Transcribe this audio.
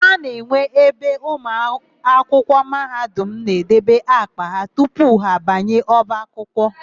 A na-enwe ebe ụmụakwụkwọ Mahadum na-edebe àkpà ha tupu ha abanye ọba akwụkwọ.